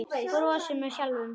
Brosir með sjálfri sér.